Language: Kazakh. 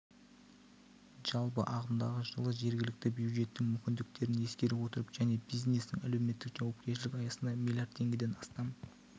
жалпы ағымдағы жылы жергілікті бюджеттің мүмкіндіктерін ескере отырып және бизнестің әлеуметтік жауапкершілік аясында миллиард теңгеден астам